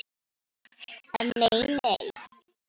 En nei nei.